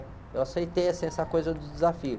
Eu aceitei, assim, essa coisa do desafio.